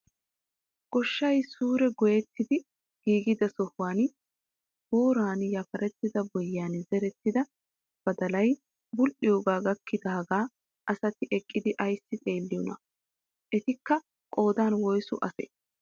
Gooshshay suure goyettiidi giigida sohuwaan booran yafarettida bo'iyaan zerettida badalay bul"iyoogaa gakkidaagaa asati eqqidi ayssi xeelliyoonaa? etikka qoodan woysu asee?